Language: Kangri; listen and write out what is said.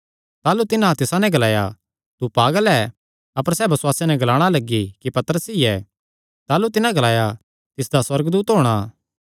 ताह़लू तिन्हां तिसा नैं ग्लाया तू पागल ऐ अपर सैह़ बसुआसे नैं ग्लाणा लग्गी कि पतरस ई ऐ ताह़लू तिन्हां ग्लाया तिसदा सुअर्गदूत होणा